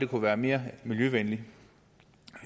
kunne være mere miljøvenlige